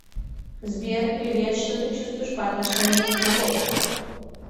сбер привет что ты чувствуешь по отношению к животным